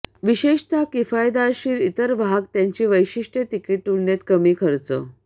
विशेषतः किफायतशीर इतर वाहक त्याची वैशिष्ट्ये तिकीट तुलनेने कमी खर्च